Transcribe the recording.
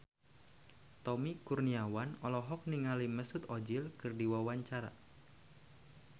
Tommy Kurniawan olohok ningali Mesut Ozil keur diwawancara